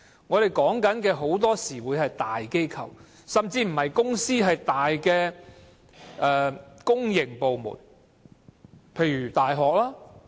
我所說的很多時是在大機構，甚至不是公司而是大型公營部門，例如大學。